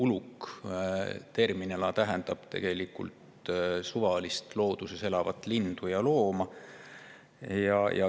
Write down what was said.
Uluk tähendab tegelikult suvalist looduses elavat lindu ja looma.